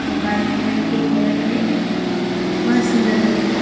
White colour के घर है बहोत सुंदर लग रहा है।